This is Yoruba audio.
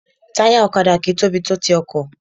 Táyà ọ̀kadà kì í tóbi tó ti ọkọ̀